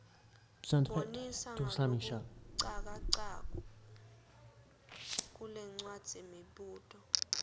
bonisa ngalokucacako kulencwadzimibuto